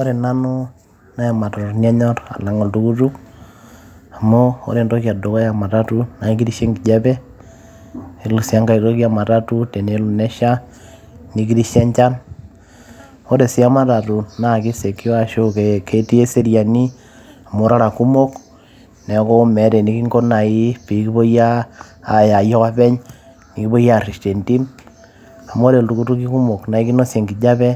ore nanu naa imatatuni anyorr alang oltukutuk amu ore entoki edukuya ematatu naa ekirishe enkijape yiolo sii enkae toki ematatu tenelo nesha nikirishe enchan ore sii ematatu naa ki secure ashu ketii eseriani amu irara kumok neeku meeta enikinko naaji piikipuoi uh, aya ayie ake openy nikipuoi arresh tentim amu ore iltukutuki kumok naa ekinosie enkijape